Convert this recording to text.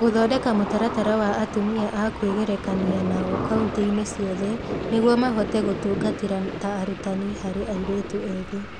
Gũthondeka mũtaratara wa atumia a kwĩgerekania nao kaunti-inĩ ciothe nĩguo mahote gũtungatĩra ta arutani harĩ airĩtu ethĩ